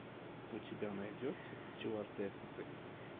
у тебя найдется стюардессы